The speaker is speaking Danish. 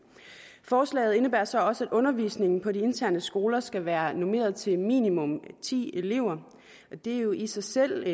forslaget indebærer så også at undervisningen på de interne skoler skal være normeret til minimum ti elever det er jo i sig selv